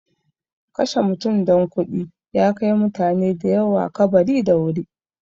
Kashe mutum don kuɗi ya kai mutane da yawa kabari da wuri.